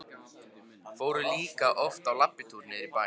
Fóru líka oft í labbitúr niður í bæ.